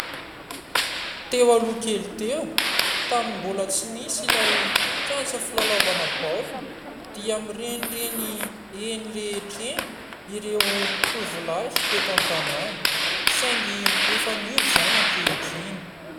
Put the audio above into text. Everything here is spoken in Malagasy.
Teo aloha kely teo tamin'ny mbola tsy nisy ilay kianja filalaovam-baolina dia mirenireny eny rehetra eny ireo tovolahy teto an-tanana saingy efa niova izany ankehitriny.